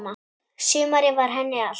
Sumarið var henni allt.